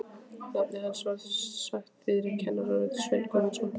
Nafnið hans var sagt þýðri kvenrödd: Sveinn Guðmundsson?